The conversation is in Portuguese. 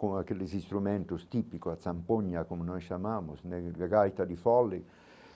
com aqueles instrumentos típicos, a Zampoña, como nós chamamos, né a gaita de fole,